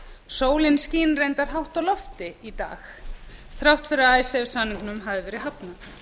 sólin skín reyndar hátt á lofti í dag þrátt fyrir að icesave samningnum hafði verið hafnað